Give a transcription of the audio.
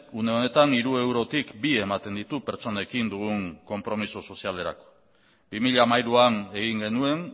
une honetan hiru eurotik bi ematen ditu pertsonekin dugun konpromiso sozialerako bi mila hamairuan egin genuen